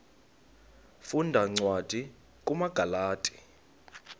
funda cwadi kumagalati